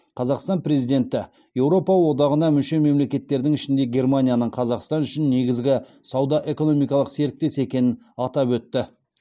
қазақстан президенті еуропа одағына мүше мемлекеттердің ішінде германияның қазақстан үшін негізгі сауда экономикалық серіктес екенін атап өтті